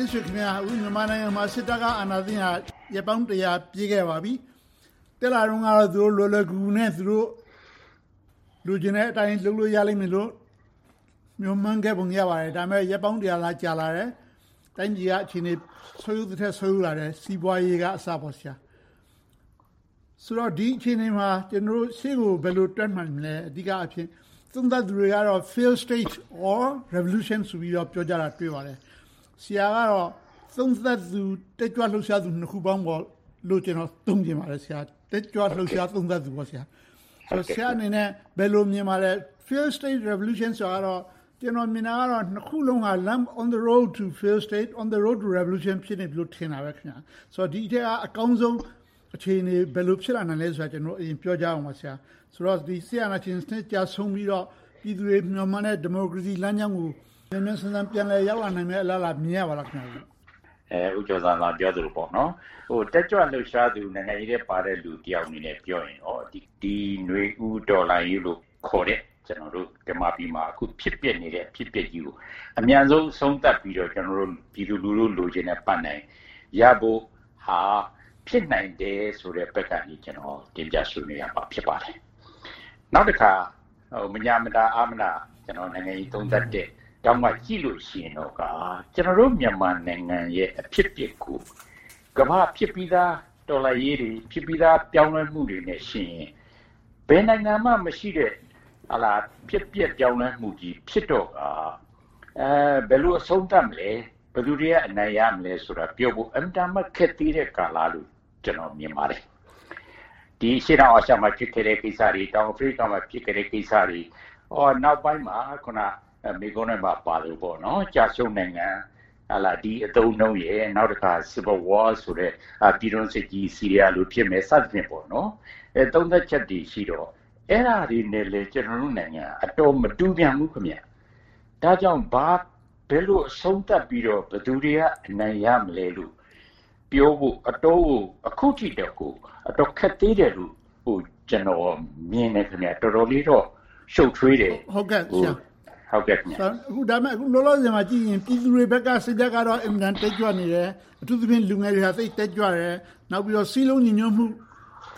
တင့်ဆွေခင်များ.. အခု မြန်မာနိုင်ငံမှာ စစ်တပ်က အာဏာသိမ်းခဲ့တာ ရက်ပေါင်း ပြည့်ခဲ့ပါပြီ။ တက်လာတုန်းကတော့ လွယ်လွယ်ကူကူနဲ့ သူတို့ လိုချင်တဲ့အတိုင်း လုပ်လို့ရလိမ့်မယ်လို့ မျှော်မှန်းခဲ့ပုံ ရပါတယ်။ ဒါပေမဲ့ ရက် သာ ကြာလာခဲ့တယ်။ တိုင်းပြည်က အခြေအနေ ဆုတ်ယုတ်သထက် ဆုတ်ယုတ်လာခဲ့တယ်။ စီးပွားရေးကအစပေါ့။ ဆိုတော့ ဒီအခြေအနေမှာ ကျနော်တို့ရှေ့ကို ဘယ်လိုတက်နိုင်မလဲ။ အဓိကအားဖြင့် သုံးသပ်သူတွေကတော့ Failed state or Revolution ဆိုပြီး ပြောကြတယ်။ ဆရာကတော့ သုံးသပ်သူ၊ တက်ကြွလှုပ်ရှားသူ နှစ်ခုပေါင်းလို့ သုံးချင်ပါတယ်။ တက်ကြွလှုပ်ရှား သုံးသပ်သူပေါ့။ ဆရာအနေနဲ့ ဘယ်လိုမြင်ပါသလဲ။ Failed state revolution ဆိုတာတော့ ကျနော်မြင်တာကတော့ နှစ်ခုစလုံးက on the road to a failed state, on the road to revolution ဖြစ်နေပြီလို့ ထင်တာပဲ။ ဒီအထဲက အကောင်းဆုံးအခြေအနေ ဘယ်လိုဖြစ်လာနိုင်မလဲဆိုတာကို ပြောကြရအောင်ပါ။ စစ်အာဏာရှင်စနစ် ကျဆုံးပြီးတော့ ပြည်သူတွေမျှော်မှန်းတဲ့ ဒီမိုကရေစီလမ်းကြောင်းကို မြန်မြန်ဆန်ဆန် ပြန်လည်ရောက်လာနိုင်မယ့် အလားအလာ မြင်ရပါသလား။ ဖြေ ။ ။ ဦးကျော်ဇံသာ ပြောသလို၊ တက်ကြွလှုပ်ရှားသူ နိုင်ငံရေးထဲပါတဲ့ လူတယောက်အနေနဲ့ ပြောရင်တော့ နွေဦးတော်လှန်ရေးခေါ်တဲ့ မြန်မာပြည်မှာ ဖြစ်ပျက်နေတဲ့ အဖြစ်အပျက်ကြီးကို အမြန်ဆုံး အဆုံးသတ်ပြီးတော့ ပြည်သူလူထု လိုချင်တဲ့ပန်းတိုင်ရဖို့ဟာ ဖြစ်နိုင်တယ်ဆိုတဲ့ဘက်ကနေ ကျနော် တင်ပြဆွေးနွေးရမှာ ဖြစ်ပါတယ်။ နောက်တခါ မညှာမတာ၊ အားမနာ နိုင်ငံရေးသုံးသပ်တဲ့ထောင့်ကနေ ကြည့်လို့ရှိရင်တော့ ကျနော်တို့ မြန်မာနိုင်ငံရဲ့ အဖြစ်အပျက်ကို ကမ္ဘာဖြစ်ပြီသား တော်လှန်ရေးတွေ၊ ဖြစ်ပြီသား ပြောင်းလဲမှုတွေနဲ့ယှဉ်ရင် ဘယ်နိုင်ငံမှမရှိတဲ့ ဖြစ်ပျက်ပြောင်းလဲမှုကြီး ဖြစ်တော့ကာ ဘယ်လိုအဆုံးသတ်မလဲ။ ဘယ်သူတွေက အနိုင်ရမလဲဆိုတာ အင်မတန်မှ ခက်သေးတဲ့ကာလလို့ ကျနော်မြင်ပါတယ်။ ဒီအရှေ့တောင်အာရှမှာ ဖြစ်ခဲ့တဲ့ကိစ္စတွေ၊ တောင်အာဖရိကမှာ ဖြစ်ခဲ့တဲ့ကိစ္စတွေ၊ နောက်ပိုင်းမှာ မေးခွန်းထဲမှာပါသလို ကျရှုံးနိုင်ငံ ဒီအသုံးအနှုန်းနဲ့ နောက်တခါ Civil war ဆိုတဲ့ ပြည်တွင်းစစ်ကြီး ဆီးရီယားလို ဖြစ်မယ် စသည်ဖြင့် သုံးသပ်ချက်တွေရှိတော့ အဲဒါတွေနဲ့လဲ ကျနော်တို့နိုင်ငံက မတူပြန်ဘူး။ ဒါကြောင့် ဘယ်လိုအဆုံးသတ်ပြီးတော့ ဘယ်သူတွေက အနိုင်ရမလဲလို့ ပြောဖို့ အခုထိ အတော်ကို ခက်သေးတယ်လို့ ကျနော်မြင်တယ်။ တော်တော်လေးတော့ ရှုပ်ထွေးတယ်။ မေး ။ ။ ဒါပေမဲ့ အခုလောလောဆယ်မှာကြည့်ရင် ပြည်သူတွေဘက်က စိတ်ဓါတ်ကတော့ အင်မတန်တက်ကြွနေတယ်။ အထူးသဖြင့် လူငယ်တွေက သိပ်တက်ကြွတယ်။ နောက်ပြီးတော့ စည်းလုံးညီညွှတ်မှု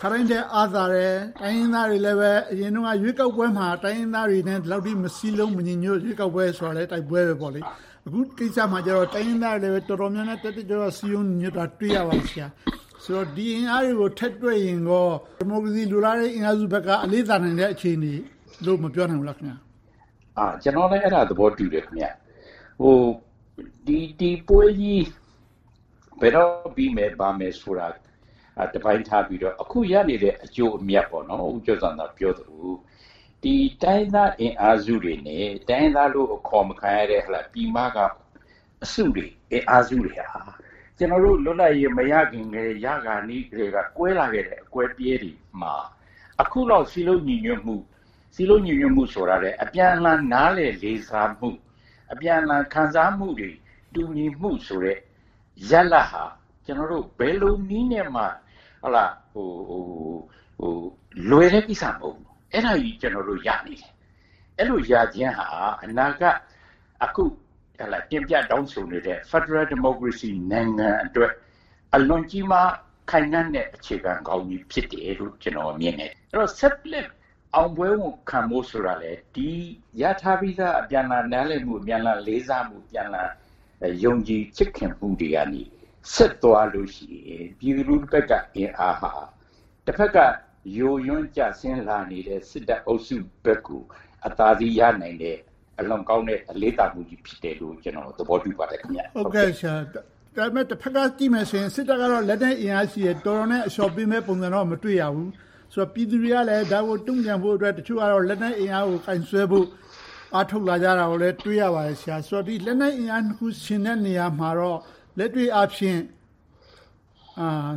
ခါတိုင်းထက် အားသာတယ်။ တိုင်းရင်းသားတွေလည်း အရင်တုန်းက ရွေးကောက်ပွဲမှာ တိုင်းရင်းသားတွေနဲ့ ဒီလောက်ထိ မစည်းလုံး၊ မညီညွှတ် ရွေးကောက်ပွဲဆိုတာလဲ တိုက်ပွဲပဲပေါ့။ အခုကိစ္စမှာတော့ တိုင်းရင်းသားတွေလည်း တော်တော်လေး တက်တက်ကြွကြွ စည်းလုံးညီညွှတ်တာကို တွေ့ရပါတယ်။ ဆိုတော့ ဒီအင်အားတွေကို ထည့်တွက်ရင်ကော ဒီမိုကရေစီအင်အားစုဘက်က အလေးသာနေတဲ့ အခြေအနေလို့ မပြောနိုင်ဘူးလား။ ဖြေ ။ ။ ကျနော်လည်း အဲဒါကို သဘောတူတယ်။ ဒီပွဲကြီး ဘယ်တော့ပြီမယ်၊ ဘာမယ်ဆိုတာဆိုတာကို တပိုင်းထားပြီးတော့ အခုရနေတဲ့ အကျိုးအမြတ်။ ဦးကျော်ဇံသာ ပြောသလို တိုင်းရင်းသားအင်အားစုတွေနဲ့ တိုင်းရင်းသားလို့ အခေါ်မခံရတဲ့ ပြည်မက အစုတွေ၊ အင်အားစုတွေဟာ ကျနော်တို့ လွတ်လပ်ရေး မရခင်ကတည်း၊ ရခါနီးကတည်းက ကွဲလာခဲ့တဲ့ အကွဲအပြဲတွေမှာ အခုလောက် စည်းလုံးညီညွှတ်မှု၊ စည်းလုံးညီညွှတ်မှုဆိုတာထက် အပြန်အလှန် နားလည်လေးစားမှု၊ အပြန်အလှန် ခံစားမှုတွေ တူညီမှုဆိုတဲ့ ရလဒ်ဟာ ဘယ်လိုနည်းနဲ့မှ လွယ်တဲ့ကိစ္စမဟုတ်ဘူး။ အဲဒါတွေကို ကျနော်တို့ ရနေတယ်။ အဲဒီလိုရခြင်းဟာ အနာဂတ် အခုတင်ပြတောင်းဆိုနေတဲ့ ဖယ်ဒရယ်ဒီမိုကရေစီနိုင်ငံအတွက် အလွန်ကြီးမားခိုင်ခန့်တဲ့ အခြေခံကောင်းကြီး ဖြစ်တယ်လို့ ကျနော်မြင်တယ်။ အဲဒီတော့ ဆက်လက်အောင်ပွဲခံဖို့ဆိုတာလဲ ဒီရထားပြီသား အပြန်အလှန် နားလည်မှု၊ အပြန်အလှန် လေးစားမှု၊ အပြန်အလှန် ယုံကြည်ချစ်ခင်မှုတွေကနေ ဆက်သွားလို့ရှိရင် ပြည်သူလူထုဘက်က အင်အားဟာ တဘက်က ယိုးယွင်းကျဆင်းလာနေတဲ့ စစ်တပ်အုပ်စုဘက်ကို အသာစီးရနိုင်တဲ့၊ အလွန်ကောင်းတဲ့ အလေးသာမှုကြီး ဖြစ်တယ်လို့ ကျနော်အနေနဲ့ သဘောတူပါတယ်။ မေး ။ ။ ဒါပေမဲ့ တဘက်ကကြည့်မယ်ဆိုရင် စစ်တပ်ကတော့ လက်နက်အင်အားရှိတယ်။ တော်တော်နဲ့ အလျှော့ပေးမယ့် ပုံစံကိုတော့ မတွေ့ရဘူး။ ပြည်သူတွေကလဲ ဒါကိုတုံ့ပြန်ဖို့အတွက် တချို့ကတော့ လက်နက်အင်အားကို ကိုင်စွဲဖို့ အားထုတ်လာကြတာကို တွေ့ရပါတယ်။ ဒီလက်နက်အင်အားနှစ်ခု ယှဉ်တဲ့နေရာမှာတော့ လက်တွေ့အားဖြင့်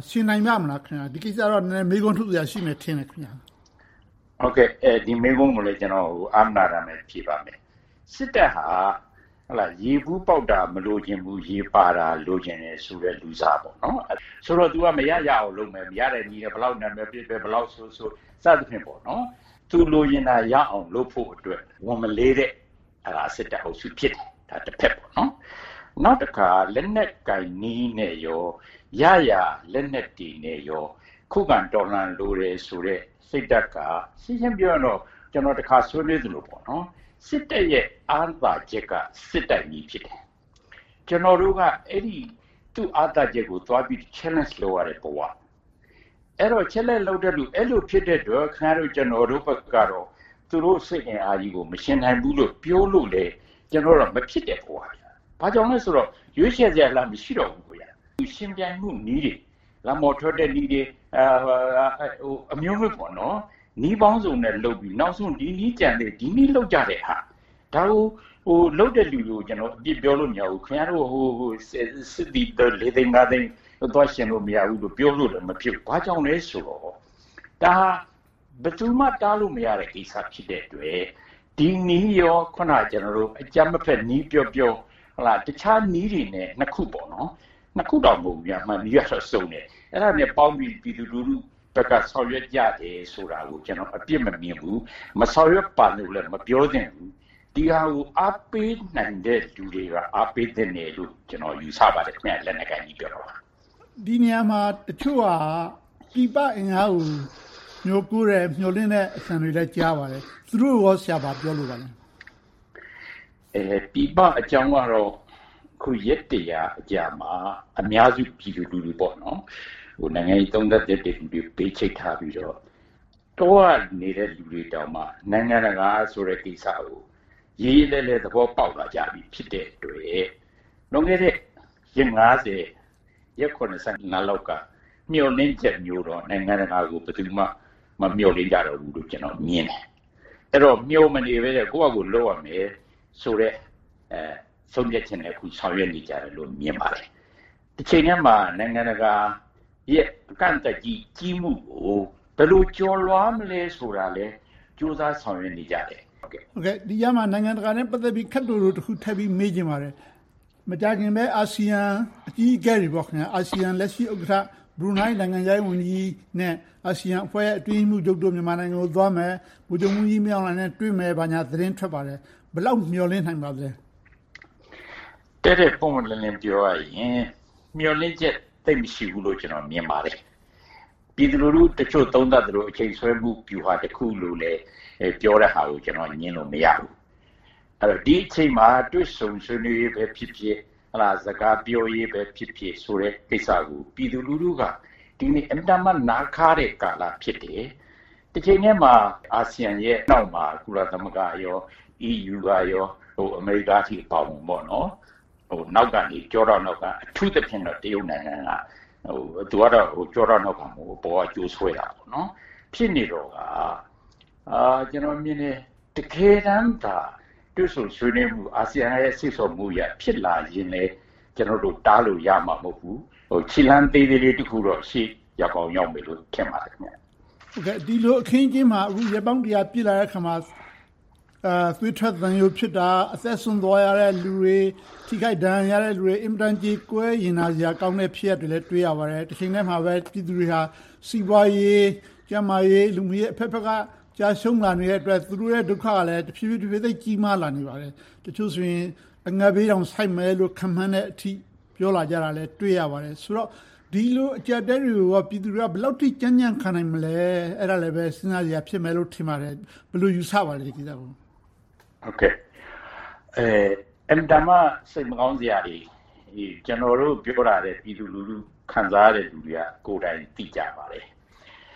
ယှဉ်နိုင်ပါ့မလား။ ဒီကိစ္စကိုတော့ နည်းနည်းမေးခွန်းထုတ်စရာ ရှိမယ်ထင်တယ်။ ဖြေ ။ ။ ဒီမေးခွန်းကိုလည်း ကျနော် အားမနာတမ်း ဖြေပါမယ်။ စစ်တပ်ဟာ ရေဘူးပေါက်တာ မလိုချင်ဘူး၊ ရေပါတာ လိုချင်တယ်ဆိုတဲ့ လူစား။ သူက မရရအောင်လုပ်မယ်။ ရတဲ့နည်းနဲ့ ဘယ်လောက်နာမည်ပျက်ပျက်၊ ဘယ်လောက်ဆိုးဆိုး စသည်ဖြင့် သူ လိုချင်တာရအောင် လုပ်ဖို့အတွက် ဝန်မလေးတဲ့ စစ်တပ်အုပ်စု ဖြစ်တယ်။ နောက်တခါ လက်နက်ကိုင်နည်းနဲ့ရော၊ ရရလက်နက်တွေနဲ့ရော ခုခံကာကွယ်လိုတယ်ဆိုတဲ့ စိတ်ဓါတ်က ရှင်းရှင်းပြောရရင်တော့ ကျနော် တခါဆွေးနွေးသလို စစ်တပ်ရဲ့ အားသာချက်က စစ်တိုက်နည်း ဖြစ်တယ်။ ကျနော်တို့က သူ့အားသာချက်ကို သွားပြီးတော့ challenge လုပ်ရတဲ့ဘဝ။ အဲဒီတော့ အဲဒီလိုဖြစ်တဲ့အတွက် ခင်များတို့ ကျနော်တို့ဘက်ကတော့ သူတို့စစ်အင်အားကြီးကို မယှဉ်နိုင်ဘူးလို့ ပြောလို့လဲ မဖြစ်တဲ့ဘဝ။ ဘာကြောင့်လဲဆိုတော့ ရွေးချယ်စရာလမ်း မရှိတော့ဘူး။ ယှဉ်ပြိုင်မှုနည်းတွေ - လမ်းပေါ်ထွက်တဲ့နည်းတွေ အမျိုးမျိုး၊ နည်းပေါင်းစုံနဲ့ လုပ်ပြီးတော့ နောက်ဆုံး ဒီနည်းကျန်သေးတယ်။ ဒီနည်းလုပ်ကြတဲ့ဟာ ဒါကို လုပ်တဲ့လူတွေကို အပြစ်ပြောလို့ မရဘူး။ ခင်များတို့ စစ်သည် လေးသိန်းငါသိန်းကို သွားယှဉ်လို့ မရဘူးဆိုပြီး ပြောလို့လဲ မဖြစ်ဘူး။ ဘာကြောင့်လဲဆိုတော့ ဒါက ဘယ်သူမှ တားလို့မရတဲ့ ကိစ္စ ဖြစ်တဲ့အတွက် ဒီနည်းနဲ့ အခုန ကျနော်တို့ အကြမ်းမဖက်နည်း ပြောပြော၊ တခြားနည်းတွေနဲ့ နှစ်ခုအပြင် နည်းတွေကစုံတယ်။ အဲဒါတွေနဲ့ပေါင်းပြီး ပြည်သူလူထုဘက်က ဆောင်ရွက်ကြတယ်ဆိုတာကို ကျနော် အပြစ်မမြင်ဘူး။ မဆောင်ရွက်ပါနဲ့လို့လဲ မပြောသင့်ဘူး။ ဒီဟာကို အားပေးနိုင်တဲ့လူတွေက အားပေးသင့်တယ်လို့ ကျနော် ယူဆပါတယ် - လက်နက်ကိုင်နည်းကိတော့။ မေး ။ ။ ဒီနေရာမှာ တချို့က ပြည်ပအင်အားကို မျှော်လင့်မျှော်ကိုးတဲ့ အသံတွေကိုလည်း ကြားရပါတယ်။ သူတို့ကိုကော ဘာပြောလိုပါလဲ။ ဖြေ ။ ။ ပြည်ပအကြောင်းကတော့ အခု ရက် အကြာမှာ အများစု ပြည်သူလူထု - နိုင်ငံရေး သုံးသပ်သူတတ်သူတွေကို ဘေးချိတ်ထားပြီးတော့ တောကနေသူတွေတောင်မှ နိုင်ငံတကာဆိုတဲ့ ကိစ္စကို ရေရေလည်လည် သဘောပေါက်လာကြပြီ ဖြစ်တဲ့အတွက် လွန်ခဲ့တဲ့ ရက် ရက် လောက်က မျှော်လင့်ချက်မျိုးတော့ နိုင်ငံတကာကို ဘယ်သူမှ မမျှော်လင့်ကြဘူးတော့လို့ ကျနော်မြင်တယ်။ အဲဒီတော့ မျှော်မနေဘဲနဲ့ ကိုယ်ဘာသာကိုယ် လုပ်ရမယ်ဆိုတဲ့ ဆုံးဖြတ်ချက်နဲ့ အခုဆောင်ရွက်နေကြတယ်လို့ မြင်ပါတယ်။ တချိန်တည်းမှာ နိုင်ငံတကာရဲ့ အကန့်အသတ်ကြီး ကြီးမှုကို ဘယ်လိုကျော်လွှာမလဲ ဆိုတာကိုလည်း ကြိုးစားဆောင်ရွက်နေကြတယ်။ မေး ။ ။ ဒီကြားထဲမှာ နိုင်ငံတကာနဲ့ ပတ်သက်ပြီးတော့ ခပ်တိုတိုတခုကို ထပ်ပြီးမေးချင်ပါတယ်။ မကြာခင်ပဲ အာဆီယံအကြီးအကဲတွေ - အာဆီယံလက်ရှိ ဥက္ကဋ္ဌ ဘရူးနိုင်း နိုင်ငံခြားရေးဝန်ကြီးနဲ့ အာဆိယံအဖွဲ့ရဲ့ အတွင်းရေးမှူးချုပ်တို့ မြန်မာနိုင်ငံကိုသွားမယ်။ ဗိုလ်ချုပ်မှူးကြီး မင်းအောင်လှိုင်နဲ့ တွေ့မယ် ဘာညာသတင်းထွက်ပါတယ်။ ဘယ်လောက်မျှော်လင့်နိုင်ပါသလဲ။ ဖြေ ။ ။ တည့်တည့်ပွင့်ပွင့်လင်းလင်း ပြောရရင် မျှော်လင့်ချက် သိပ်မရှိဘူးလို့ မြင်ပါတယ်။ ပြည်သူလူထုတချို့ သုံးသပ်သလို အချိန်ဆွဲမှု ဗျူဟာတခုလို့ ပြောတဲ့ဟာကို ကျနော်က ငြင်းလို့မရဘူး။ ဒီအချိန်မှာ တွေ့ဆုံဆွေးနွေးရေးပဲဖြစ်ဖြစ် စကားပြောရေးပဲဖြစ်ဖြစ်ဆိုတဲ့ ကိစ္စကို ပြည်သူလူထုက ဒီနေ့ အင်မတန်မှ နားခါးတဲ့ ကာလ ဖြစ်တယ်။ တချိန်တည်းမှာ အာဆီယံရဲ့နောက်မှာ ကုလသမဂ္ဂ၊ EU, အမေရိကအထိ အပါအဝင် နောက်ကနေ - ကျောထောက်နောက်က။ အထူးသဖြင့် တရုတ်နိုင်ငံ။ သူကတော့ ကျောထောက်နောက်ခံ မဟုတ်ဘူး။ အပေါ်က ကြိုးဆွဲရာ ဖြစ်နေတော့က ကျနော်မြင်တယ် တကယ်တမ်းသာ တွေ့ဆုံဆွေးနွေးမှုက အာဆီယံရဲ့ စေ့ဆော်မှုအရ ဖြစ်လာရင်လဲ ကျနော်တို့ တားလို့ရမှာ မဟုတ်ဘူး။ ခြေလှမ်းသေးလေးလေး တခုတော့ ရောက်ကောင်းရောက်ပါလိမ့်မယ်။ မေး ။ ။ ဒီလိုအခင်းအကျင်းမှာ ရက်ပေါင်း ပြည့်လာတဲ့အခါမှာ သွေးထွက်သံယိုဖြစ်တာ။ အသက်စွန့်သွားရတဲ့ လူတွေ။ ထိခိုက်ဒဏ်ရာရတဲ့လူတွေ င်မတန်ကြေကွဲရင်နာစရာ ဖြစ်ရပ်တွေကိုလည်း တွေ့ရပါတယ်။ တချိန်ထဲမှာပဲ ပြည်သူတွေက စီးပွားရေး၊ ကျန်းမာရေး၊ လူမှုရေး အဘက်ဘက်က ကျရံှုးလာနေတဲ့အတွက် သူတို့ရဲ့ ဒုက္ခကလဲ တဖြည်းဖြည်း သိပ်ကြီးမာလာနေပါတယ်။ တချို့ဆိုရင် အငတ်ဘေးတောင် ဆိုက်မယ်လို့ ခန့်မှန်းထားတဲ့အထိ ပြောလာကြတာကိုလဲ တွေ့ရပါတယ်။ ဆိုတော့ ဒီလိုအကျပ်အတည်းတွေကို ပြည်သူတွေက ဘယ်လောက်အထိ ကြံ့ကြံ့ခံနိုင်မလဲ။ အဲဒါလဲပဲ စဉ်းစားစရာ ဖြစ်မယ်လို့ ထင်ပါတယ်။ ဒီကိစ္စကို ဘယ်လိုယူဆပါလဲ။ ဖြေ ။ ။ အင်မတန်မှ စိတ်မကောင်းစရာတွေ။ ကျနော်တို့ ပြောတာထက် ပြည်သူလူထု ခံစားရတဲ့လူတွေက ကိုယ်တိုင်သိကြပါတယ်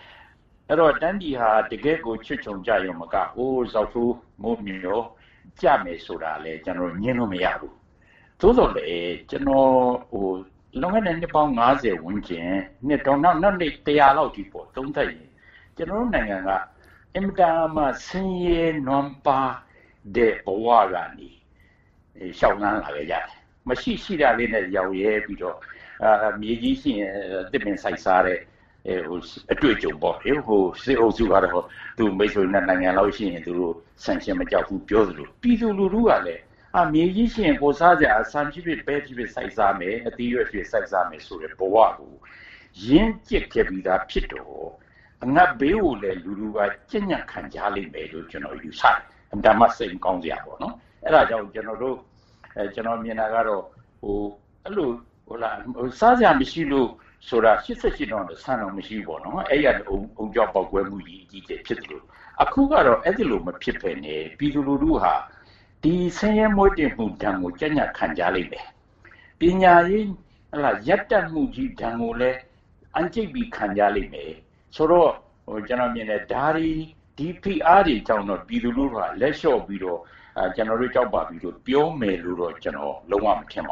။ အဲဒီတော့ တိုင်းပြည်ဟာ တကယ့်ကို ချွတ်ခြုံကျရုံတင်မက ဇောက်ထိုးမိုးမျှော် ကျမယ်ဆိုတာလဲ ကျနော်တို့ ငြင်းလို့မရဘူး။ သို့သော်လဲ လွန်ခဲ့တဲ့ နှစ်ပေါင်း ဝန်းကျင်၊ နောက်ထပ် လောက်အထိ သုံးသပ်ရင် ကျနော်တို့နိုင်ငံက အင်မတန်မှ ဆင်းရဲနွမ်းပါးတဲ့ ဘဝကနေ လျှောက်လှမ်းလာခဲ့ကြတယ်။ ရှိတာလေးနဲ့ ရောင့်ရဲပြီးတော့ မြေကြီးရှိရင် သစ်ပင်စိုက်စားတဲ့ အတွေ့အကြုံပေါ့။ စစ်အုပ်စုက သူ့မိတ်ဆွေ နိုင်ငံလောက်ရှိရင် သူတို့ sanction မကြောက်ဘူး၊ ပြောနေသလို၊ ပြည်သူလူထုကလဲ မြေကြီးရှိရင် ဖော်စားစရာ - ဆန်ဖြစ်ဖြစ်၊ ပဲဖြစ်ဖြစ် စိုက်စားမယ်၊ အသီးအရွက်ဖြင့် စိုက်စားမယ်ဆိုတဲ့ ဘဝကို ရင့်ကြတ်ပြီသားဖြစ်တော့ အငတ်ဘေးကိုလည်း လူထုက ကြံ့ကြံ့ခံကြလိမ့်မယ်လို ယူဆတယ်။ အင်မတန်မှ စစ်မကောင်းစရာ။ အဲဒါကြောင့်မို့ ကျနော်မြင်တာကတော့ စားစရာမရှိလို့ဆိုတာက ၈၈ တုန်းက ဆန်တောင် မရှိဘူး။ အဲဒီကနေ အုံကြွပေါက်ကွဲမှုကြီး ဖြစ်သလို၊ အခုကတော့ အဲဒီလို မဖြစ်ဘဲနဲ့ ပြည်သူလူထုက ဆင်းရဲမှုဒဏ်ကို ကြံ့ကြံ့ခံကြလိမ့်မယ်။ ပညာရေးရပ်တန့်မှုကြီး ဒဏ်ကိုလည်း အံ့ကြိတ်ပြီး ခံကြလိမ့်မယ်ဆိုတော့ ဒီဖိအားတွေကြောင့် ပြည်သူလူထုက လက်လျှော့ပြီးတော့ ကျနော်တို့ ကြောက်ပါပြီလို့ ပြောမယ်လို့တော့ ကျနော် လုံးဝမထင်ပ